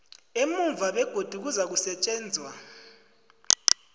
emuva begodu kuzakusetjenzwa